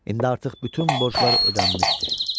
İndi artıq bütün borclar ödənilmişdi.